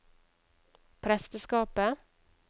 presteskapet